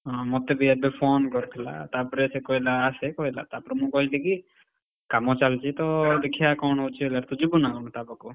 ହଁ ମତେ ବି ଏବେ phone କରିଥିଲା। ତାପରେ ସେ କହିଲା ଅସେ କହିଲା ତାପରେ ମୁଁ କହିଲି କି, କାମ ଚାଲିଛିତ ଦେଖିଆ କଣ ହଉଛି ହେଲା, ତୁ ଯିବୁନା କଣ ତା ପାଖକୁ?